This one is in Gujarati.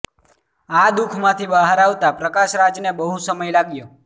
અ દુખ માંથી બહાર આવતા પ્રકાશ રાજ ને બહુ સમય લાગ્યો